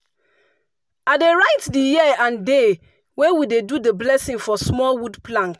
i dey write the year and day wey we do the blessing for small wood plank.